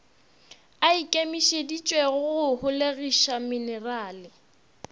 a ikemišeditšego go holegiša menerale